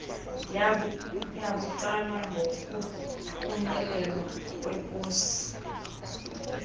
yabucala yokuthunyelwa kweposi